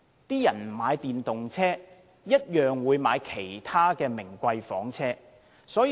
市民不買電動車，也會買其他名貴房車。